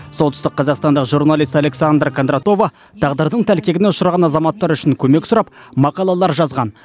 солтүстік қазақстандық журналист александра кондратова тағдырдың тәлкегіне ұшыраған азаматтар үшін көмек сұрап мақалалар жазған